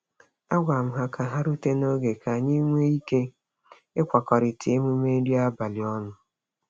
A gwara m ha ka ha rute n'oge ka anyị nwee ike ịkwakọrita emume nri abalị ọnụ.